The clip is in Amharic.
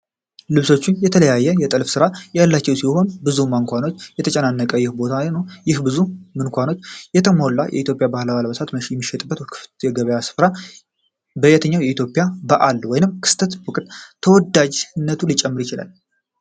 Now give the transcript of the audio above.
ልብሶቹ የተለያየ የጥልፍ ስራ ያላቸው ሲሆን፣ በብዙ ማንኳኖች የተጨናነቀው ይህ ቦታነው። ይህ በብዙ ማንኳኖች የተሞላ እና የኢትዮጵያ ባህላዊ አልባሳት የሚሸጥበት ክፍት የገበያ ስፍራ፣ በየትኛው የኢትዮጵያ በዓል ወይም ክስተት ወቅት ተወዳጅነት ሊጨምር ይችላል?